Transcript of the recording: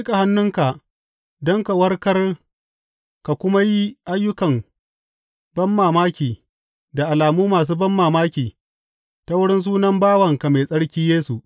Ka miƙa hannunka don ka warkar ka kuma yi ayyukan banmamaki da alamu masu banmamaki ta wurin sunan bawanka mai tsarki Yesu.